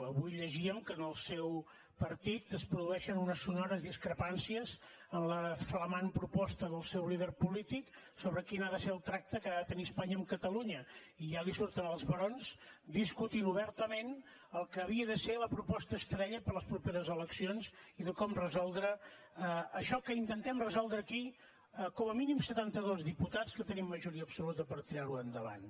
avui llegíem que en el seu partit es produeixen unes sonores discrepàncies en la flamant proposta del seu líder polític sobre quin ha de ser el tracte que ha de tenir espanya amb catalunya i ja li surten els barons discutint obertament el que havia de ser la proposta estrella per a les properes eleccions i de com resoldre això que intentem resoldre aquí com a mínim setantados diputats que tenim majoria absoluta per tirarho endavant